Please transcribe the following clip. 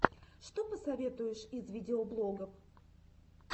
что посоветуешь из видеоблогов